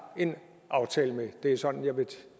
en aftale med det er sådan jeg vil